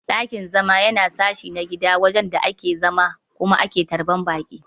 Dakin-zama Yana sashi na gida wajen da ake zama Kuma ake tarban Baki.